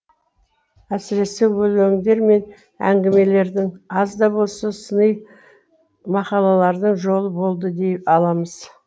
әсіресе өлеңдер мен әңгімелердің аз да болса сыни мақалалардың жолы болды дей аламыз